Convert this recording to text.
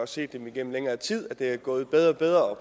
set igennem længere tid at det er gået bedre og bedre